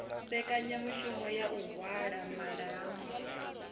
mbekanyamushumo ya u halwa malaṱwa